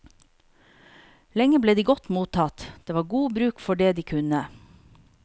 Lenge ble de godt mottatt, det var god bruk for det de kunne.